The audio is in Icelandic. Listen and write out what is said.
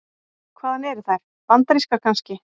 Hvaðan eru þær. bandarískar kannski?